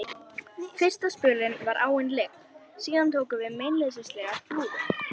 Fyrsta spölinn var áin lygn, síðan tóku við meinleysislegar flúðir.